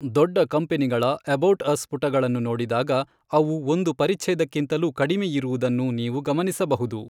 ದೊಡ್ಡ ಕಂಪನಿಗಳ 'about us' ಪುಟಗಳನ್ನು ನೋಡಿದಾಗ ಅವು ಒಂದು ಪರಿಛ್ಛೇದಕ್ಕಿಂತಲೂ ಕಡಿಮೆಯಿರುವುದನ್ನು ನೀವು ಗಮನಿಸಬಹುದು.